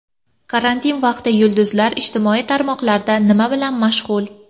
Karantin vaqti yulduzlar ijtimoiy tarmoqlarda nima bilan mashg‘ul?.